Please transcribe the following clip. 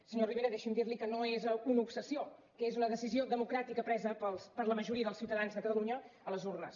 senyor rivera deixi’m dir li que no és una obsessió que és una decisió democràtica presa per la majoria dels ciutadans de catalunya a les urnes